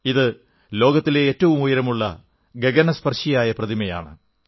ഇത് ലോകത്തിലെ ഏറ്റവും ഉയരമുള്ള ഗഗനസ്പർശിയായ പ്രതിമയാണ്